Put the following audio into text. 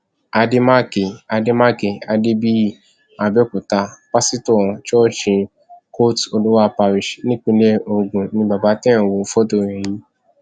àdèmàkè àdèmàkè adébíyì àbẹòkúta páṣítọ ṣọọṣì côte olúwa parish nípìnlẹ ogun ni bàbá tẹ ẹ ń wo fọtò rẹ yìí